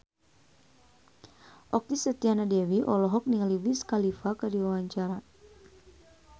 Okky Setiana Dewi olohok ningali Wiz Khalifa keur diwawancara